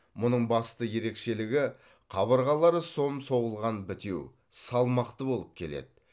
мұның басты ерекшелігі қабырғалары сом соғылған бітеу салмақты болып келеді